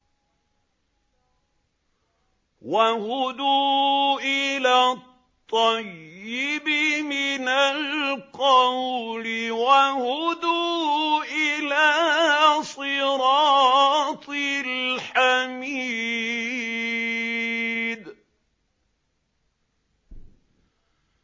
وَهُدُوا إِلَى الطَّيِّبِ مِنَ الْقَوْلِ وَهُدُوا إِلَىٰ صِرَاطِ الْحَمِيدِ